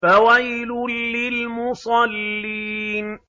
فَوَيْلٌ لِّلْمُصَلِّينَ